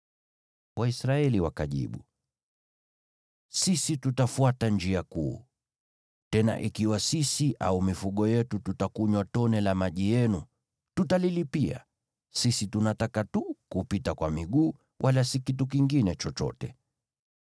Waisraeli wakajibu: “Sisi tutafuata njia kuu; tena ikiwa sisi au mifugo yetu tutakunywa tone la maji yenu, tutalilipia. Sisi tunataka tu kupita kwa miguu, wala si kitu kingine chochote.”